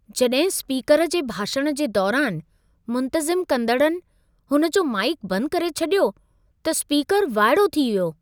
जॾहिं स्पीकर जे भाषण जे दौरान मुंतज़िम कंदड़नि हुन जो माइक बंद करे छॾियो, त स्पीकर वाइड़ो थी वियो।